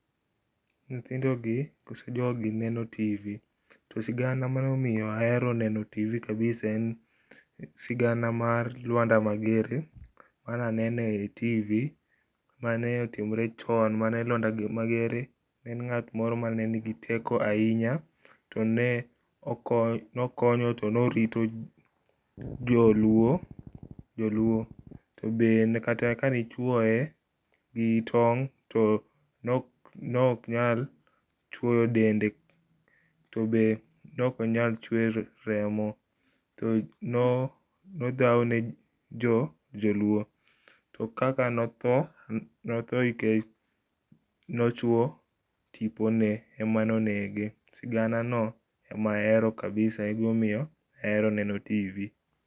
Nyithindogi koso jogi neno TV, to sigana manoniyo ahero neno TV kabisa en sigana mar Luanda Magere mane anene TV mane otimore chon, mane Luanda Magere en ngat moro mane nigi teko ahinya, tone okonyo to norito joluo tobe kata kane ichuoye gi tong tone ok nyal chuoyo dende tobende neok onyal chwer remo. To no nodhaw ne joluo. To kaka notho, notho nikech nochuo tipone emane onege. Sigana no emane ahero kabisa ema omiyo nahero neno TV